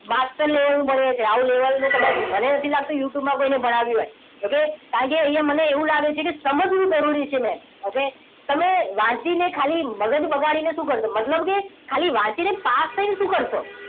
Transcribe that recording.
Master level નું ભણીએ છીએ high level નું કદાચ મને નથી લાગતું youtube માં કોઈને ભણાવ્યું હોય okay કારણ કે અહીંયા મને એવું લાગે છે કે સમજવું જરૂરી છે okay main તમે વાંચીને ખાલી મગજ બગાડીને શું કરશો મતલબ કે ખાલી વાંચીને પાસ થઈને શું કરશો